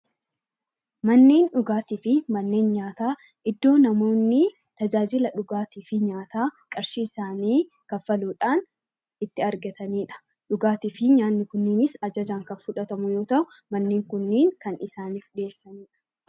Manneen dhugaatii fi manneen nyaataa iddoo namoonni tajaajila fhugaatiif nyaataa qarshii isaanii kaffaluudhaan itti argataniidha. Dhugaatii fi nyaanni kunis ajaajan kan fudhatamu yoo ta'u; manneen kunneen kan isaaniif beeksifaamuudha.